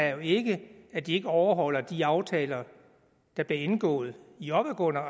er jo ikke at de ikke overholder de aftaler der blev indgået i opadgående